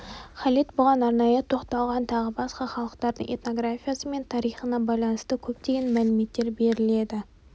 халид бұған арнайы тоқталған тағы басқа халықтардың этнографиясы мен тарихына байланысты көптеген мәліметтер беріледі